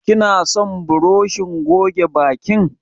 Kina son burushin goge bakin?